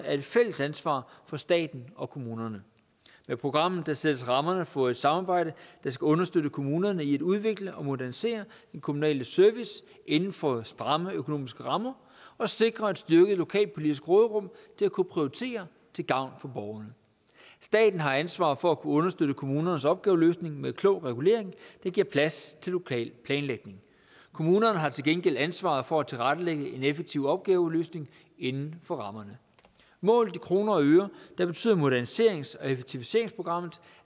et fælles ansvar for staten og kommunerne med programmet sættes rammerne for et samarbejde der skal understøtte kommunerne i at udvikle og modernisere den kommunale service inden for stramme økonomiske rammer og sikre et styrket lokalpolitisk råderum til at kunne prioritere til gavn for borgerne staten har ansvaret for at kunne understøtte kommunernes opgaveløsning med klog regulering der giver plads til lokal planlægning kommunerne har til gengæld ansvaret for at tilrettelægge en effektiv opgaveløsning inden for rammerne målt i kroner og øre betyder moderniserings og effektiviseringsprogrammet